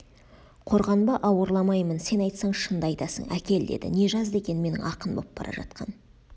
қорғанба ауырламаймын сен айтсаң шынды айтасың әкел деді не жазды екен менің ақын боп бара жатқан